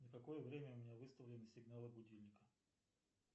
на какое время у меня выставлены сигналы будильника